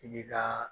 I bi ka